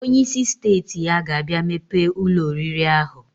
Onye isi steeti ya ga abia mepe Ụlọ oriri ahu.